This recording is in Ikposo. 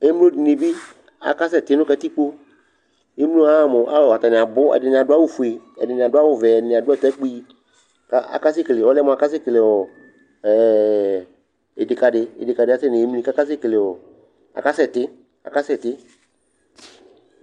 emlodinibi akasɛti nu katigbo emlowani ahamʊ atani abu ataki akasɛti